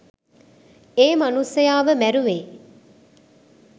ඒ මනුස්සයාව මැරුවේ.